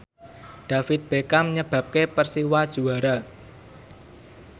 David Beckham nyebabke Persiwa juara